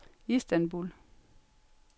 Istanbul